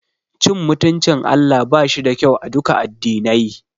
Cin mutuncin Allah bashi da kyau aduka addinai.